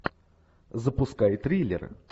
запускай триллер